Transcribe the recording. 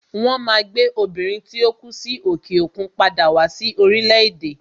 Won Maa gbe Obìnrin tí ó kú sí òkè òkun padà wá sí orílẹ̀ èdè